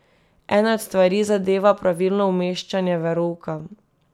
Ena od stvari zadeva pravilno umeščanje verouka.